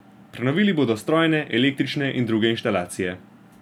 Prenovili bodo strojne, električne in druge inštalacije.